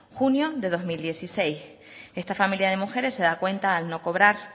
junio de dos mil dieciséis esta familia de mujeres se da cuenta al no cobrar